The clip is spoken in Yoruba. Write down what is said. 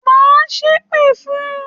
Má ṣèpè fun!